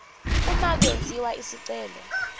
uma kwenziwa isicelo